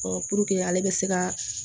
puruke ale bɛ se ka